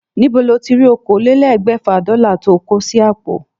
Níbo lo tí rí okòólélégbèfà Dólà tó o kó sí àpò?